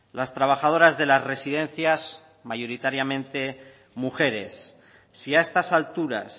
las trabajadoras de las residencias mayoritariamente mujeres si a estas alturas